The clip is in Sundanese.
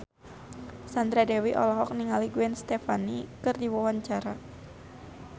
Sandra Dewi olohok ningali Gwen Stefani keur diwawancara